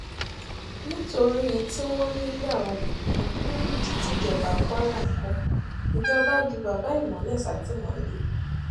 nítorí tí wọ́n ní gbàrọgùdù ní bíríìjì tìjọba kwara kó ìjọba ju baba ìmọ́lẹ̀ sátìmọ́lé